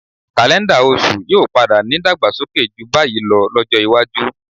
Kaléńdà oṣù yóò padà nídàgbàsókè jù báyìí lọ lọ́jọ́ iwájú.